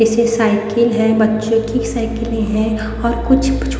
किसी साइकिल हैं बच्चों की साइकिलें हैं और कुछ--